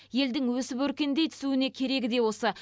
елдің өсіп өркендей түсуіне керегі де осы